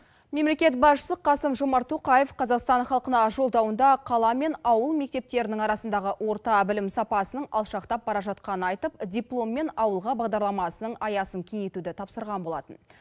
мемлекет басшысы қасым жомарт тоқаев қазақстан халқына жолдауында қала мен ауыл мектептерінің арасындағы орта білім сапасының алшақтап бара жатқанын айтып дипломмен ауылға бағдарламасының аясын кеңейтуді тапсырған болатын